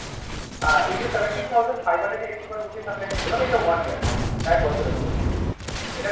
আ এই যে Seventeen thousand five hundred Eight one rupees আপনাকে বললাম, এটা One year কিন্তু এক বছরের জন্য। এটাতে